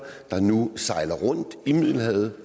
der nu sejler rundt i middelhavet